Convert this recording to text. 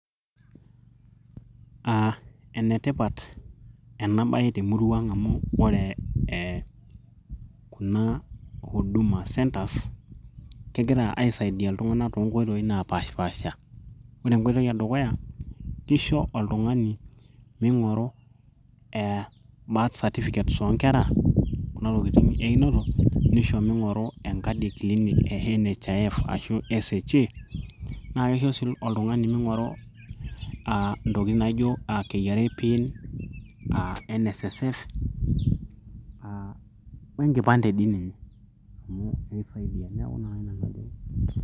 uh, enetipat ena baye temurua ang amu ore kuna huduma centres kegira aisaidia iltung'anak toonkoitoi napaashipasha ore enkoitoi edukuya kisho oltung'ani ming'oru eh birth certificates oonkera kuna tokitin einoto nisho ming'oru enkadi e clinic e NHIF ashu SHA naa kisho sii oltung'ani ming'oru uh, ntokitin naijo KRA pin uh, NSSF uh, wenkipande dii ninye amu ekisaidia neeku naa.